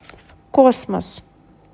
космос